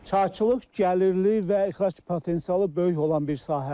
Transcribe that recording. Çayçılıq gəlirli və ixrac potensialı böyük olan bir sahədir.